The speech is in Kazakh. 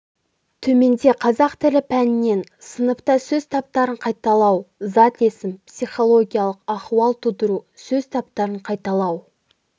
төменде қазақ тілі пәнінен сыныпта сөз таптарын қайталау зат есім психологиялық ахуал тудыру сөз таптарын қайталау